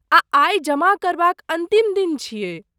आ आइ जमा करबाक अन्तिम दिन छियै।